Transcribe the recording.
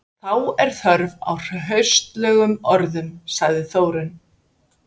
Þá er þörf á hraustlegum orðum, sagði Þórunn.